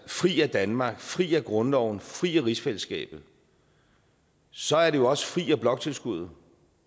fri af danmark fri af grundloven fri af rigsfællesskabet så er det jo også fri af bloktilskuddet